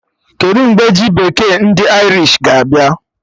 Kedụ mgbe ji bekee ndị Irish ga-abịa?